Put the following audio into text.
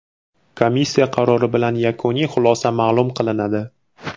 Komissiya qarori bilan yakuniy xulosa ma’lum qilinadi.